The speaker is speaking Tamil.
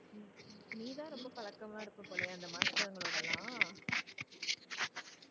நீ தான் ரொம்ப பழக்கமா இருப்ப போலயே அந்த master ங்களோட எல்லாம்